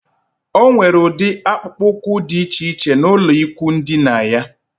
O nwere udi akpukpu úkwú dị iche iche n'ulo ikwụ dina yá